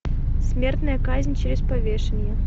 смертная казнь через повешение